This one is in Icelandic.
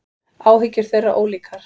Áhyggjur þeirra ólíkar.